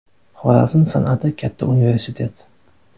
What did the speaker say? Xorazm san’ati katta universitet.